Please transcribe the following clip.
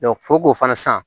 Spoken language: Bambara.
fo k'o fana san